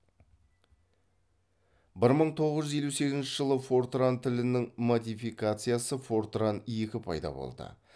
бір мың тоғыз жүз елу сегізінші жылы фортран тілінің модификациясы фортран екі пайда болды